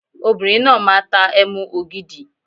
Obìnrin náà máa tá Ẹmu ògidì.